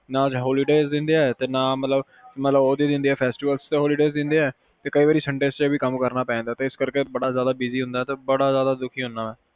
ਨਾ holidays ਦੀ ਦਿੰਦੇ ਆ ਨਾ ਮਤਲਬ festival ਤੇ holidays ਦਿੰਦੇ ਆ ਤੇ ਕਯੀ ਵਰੀ sundays ਨੂੰ ਵੀ ਕਮ ਕਰਨਾ ਪੈ ਜਾਂਦਾ ਸੋ ਇਸ ਕਰਕੇ ਬੜਾ ਜਾਂਦੇ busy ਹੁਨਾ ਬੜਾ ਦੁਖੀ ਹੁਨਾ